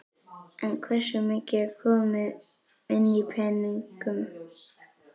En hversu mikið er komið inn í peningum?